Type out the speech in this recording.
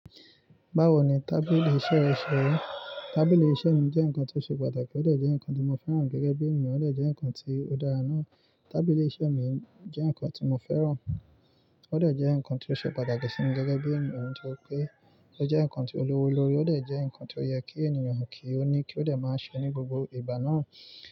Báwo ni tábìlì iṣẹ́ re ṣe ri? Tábìlì iṣẹ́ mi jẹ́ nǹkan tó ṣe pàtàkì ó dẹ̀ jẹ́ nǹkan tí mo fẹ́ràn gẹ́gẹ́ bí èèyàn ó dẹ̀ jẹ́ nǹkan tí ó dára náà. Tábìlì iṣẹ́ mi jẹ́ nǹkan tí mo fẹ́ràn, ó dẹ̀ jẹ́ nǹkan ti ó ṣe pàtàkì sí mi gẹ́gẹ́ bí èniyàn nitóri pé, ó jẹ́ nǹkan tí o lówó lórí, ó dẹ̀ jẹ́ nǹkan tí ó yẹ kí ènìyàn kí ó ní kí ó dẹ̀ máa ṣe ní gbogbo ìgbà náà.